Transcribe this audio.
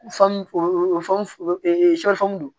don